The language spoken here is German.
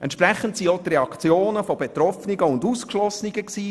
Entsprechend fielen auch die Reaktionen seitens Betroffener und Ausgeschlossener aus.